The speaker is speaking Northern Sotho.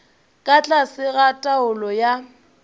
ka tlase ga taolo ya